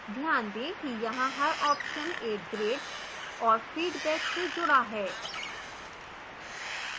ध्यान दें कि यहां हर option एक grade और feedback से जुड़ा है